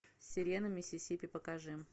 сирена миссисипи покажи